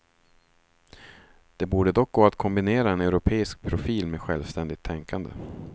Det borde dock gå att kombinera en europeisk profil med självständigt tänkande.